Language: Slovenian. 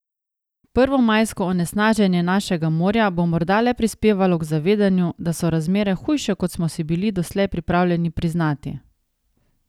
Prvomajsko onesnaženje našega morja bo morda le prispevalo k zavedanju, da so razmere hujše, kot smo si bili doslej pripravljeni priznati.